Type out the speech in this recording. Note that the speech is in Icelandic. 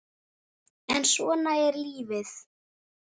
en svona er lífið.